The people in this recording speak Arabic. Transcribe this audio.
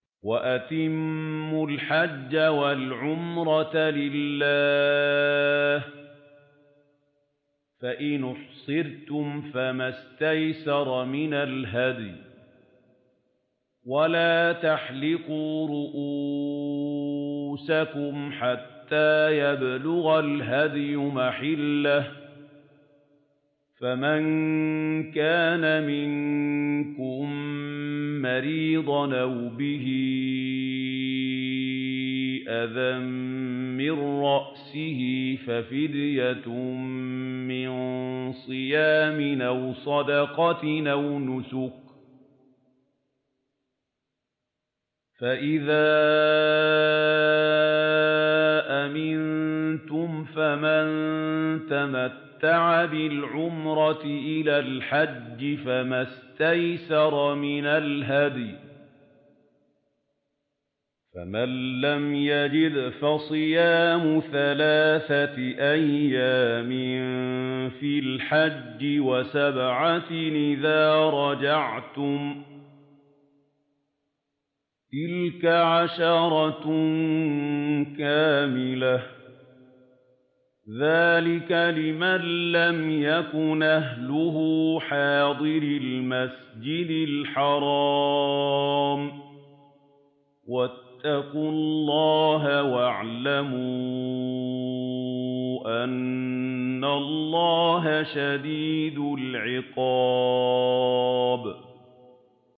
وَأَتِمُّوا الْحَجَّ وَالْعُمْرَةَ لِلَّهِ ۚ فَإِنْ أُحْصِرْتُمْ فَمَا اسْتَيْسَرَ مِنَ الْهَدْيِ ۖ وَلَا تَحْلِقُوا رُءُوسَكُمْ حَتَّىٰ يَبْلُغَ الْهَدْيُ مَحِلَّهُ ۚ فَمَن كَانَ مِنكُم مَّرِيضًا أَوْ بِهِ أَذًى مِّن رَّأْسِهِ فَفِدْيَةٌ مِّن صِيَامٍ أَوْ صَدَقَةٍ أَوْ نُسُكٍ ۚ فَإِذَا أَمِنتُمْ فَمَن تَمَتَّعَ بِالْعُمْرَةِ إِلَى الْحَجِّ فَمَا اسْتَيْسَرَ مِنَ الْهَدْيِ ۚ فَمَن لَّمْ يَجِدْ فَصِيَامُ ثَلَاثَةِ أَيَّامٍ فِي الْحَجِّ وَسَبْعَةٍ إِذَا رَجَعْتُمْ ۗ تِلْكَ عَشَرَةٌ كَامِلَةٌ ۗ ذَٰلِكَ لِمَن لَّمْ يَكُنْ أَهْلُهُ حَاضِرِي الْمَسْجِدِ الْحَرَامِ ۚ وَاتَّقُوا اللَّهَ وَاعْلَمُوا أَنَّ اللَّهَ شَدِيدُ الْعِقَابِ